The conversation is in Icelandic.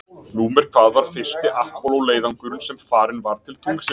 Númer hvað var fyrsti Apollo leiðangurinn sem farinn var til tunglsins?